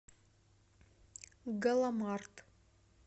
галамарт